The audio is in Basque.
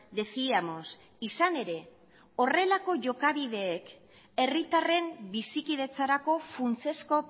decíamos izan ere horrelako jokabideek herritarren bizikidetzarako funtsezko